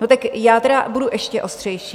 No, tak já tedy budu ještě ostřejší.